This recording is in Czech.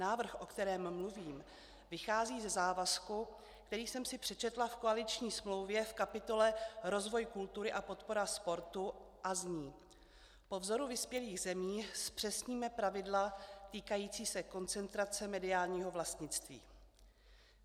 Návrh, o kterém mluvím, vychází ze závazku, který jsem si přečetla v koaliční smlouvě v kapitole Rozvoj kultury a podpora sportu a zní: Po vzoru vyspělých zemí zpřesníme pravidla týkající se koncentrace mediálního vlastnictví.